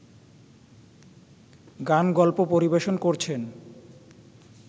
গান-গল্প পরিবেশন করছেন